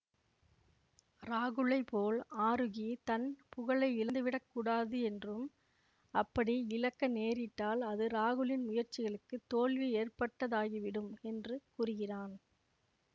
ராகுலைப் போல் ஆரூகி தன் புகழை இழந்துவிடக் கூடாது என்றும் அப்படி இழக்க நேரிட்டால் அது ராகுலின் முயற்சிகளுக்கு தோல்வி ஏற்பட்டதாகிவிடும் என்று கூறுகிறான்